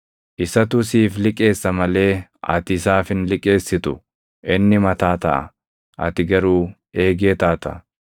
Isatu siif liqeessa malee ati isaaf hin liqeessitu. Inni mataa taʼa; ati garuu eegee taata.